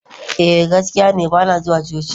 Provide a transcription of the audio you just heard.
eh, gaskiya ne ba na zuwa coci